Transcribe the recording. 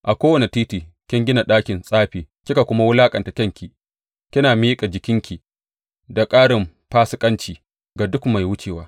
A kowane titi kin gina ɗakin tsafi kika kuma wulaƙanta kyanki, kina miƙa jikinki da ƙarin fasikanci ga duk mai wucewa.